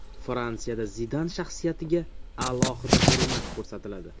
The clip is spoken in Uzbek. Fransiyada Zidan shaxsiyatiga alohida hurmat ko‘rsatiladi.